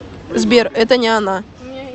сбер это не она